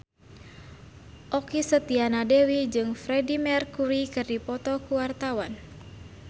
Okky Setiana Dewi jeung Freedie Mercury keur dipoto ku wartawan